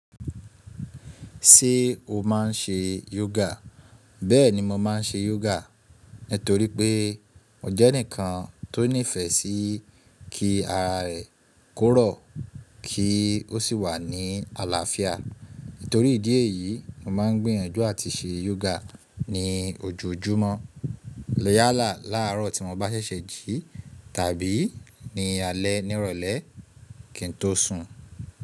Ṣé o máà ń ṣe yógà? Bẹ́ẹ̀ni mo máà ń ṣe yógà nítorí pé mo jẹ́ ẹnìkan tó nífẹ́ sí kí ara rẹ̀ kó rọ̀ kí ó sì wà ní àlàáfíà. Nítorí ìdí èyí, mo máà ń gbìyànjú àti ṣe yógà ní ojoojúmọ́. Yálà láàárọ̀ tí mo bá ṣẹ̀ṣẹ̀ jí tàbí ní alẹ́ nírọ̀lẹ́ kí n tó sùn.